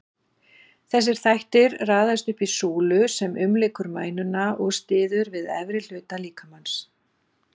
Þessir þættir raðast upp í súlu sem umlykur mænuna og styður við efri hluta líkamans.